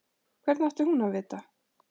Hvernig átti hún að vita-?